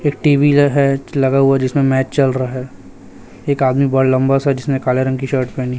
एक टी_वी लग है लगा हुआ जिसमें मैच चल रहा है एक आदमी बड़ा लंबा सा जिसने काले रंग की शर्ट पहनी--